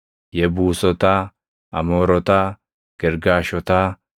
Yebuusotaa, Amoorotaa, Girgaashotaa,